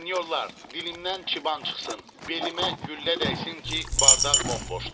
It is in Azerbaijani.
Sinyorlar, dilimdən çiban çıxsın, belimə güllə dəysin ki, bardaq bomboşdur.